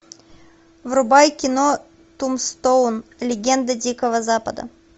врубай кино тумстоун легенда дикого запада